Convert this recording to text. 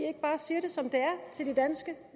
ikke bare siger det som det er til de danske